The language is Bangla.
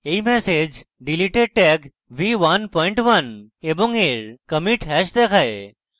এই ম্যাসেজ deleted tag v11 এবং এর commit hash দেখায়